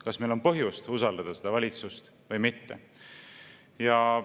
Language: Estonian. Kas meil on põhjust usaldada seda valitsust või mitte?